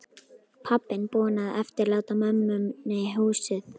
Pabbinn búinn að eftirláta mömmunni húsið.